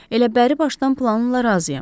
Elə bəri başdan planınla razıyam.